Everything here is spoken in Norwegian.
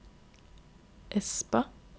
Espa